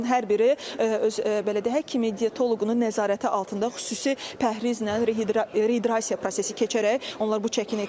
Onların hər biri öz belə deyək həkimi, dietoloqunun nəzarəti altında xüsusi pəhrizlə, rehidrasiya prosesi keçərək onlar bu çəkini itirirlər.